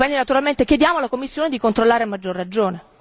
Naturalmente chiediamo alla Commissione di controllare a maggior ragione.